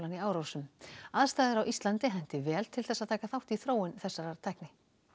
í Árósum aðstæður á Íslandi henti vel til að taka þátt í þróun þessarar tækni